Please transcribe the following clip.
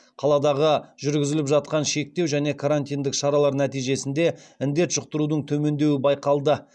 қаладағы жүргізіліп жатқан шектеу және карантиндік шаралар нәтижесінде індет жұқтырудың төмендеуі байқалды